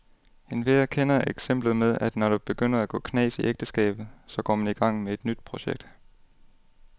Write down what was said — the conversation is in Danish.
Enhver kender eksemplet med, at når der begynder at gå knas i ægteskabet, så går man i gang med et nyt projekt.